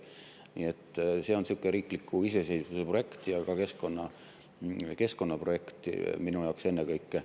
Nii et see on sihuke riigi iseseisvuse projekt ja ka keskkonnaprojekt minu jaoks ennekõike.